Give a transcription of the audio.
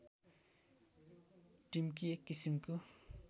टिम्की एक किसिमको